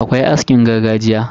Akwai askin gargajiya.